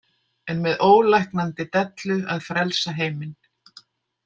En með ólæknandi dellu að frelsa heiminn.